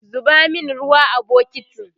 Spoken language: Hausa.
zuba min ruwa a bukitin!